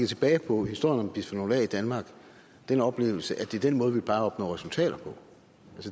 tilbage på historien om bisfenol a i danmark den oplevelse at det er den måde vi plejer at opnå resultater på